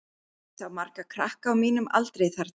Ég sá marga krakka á mínum aldri þarna.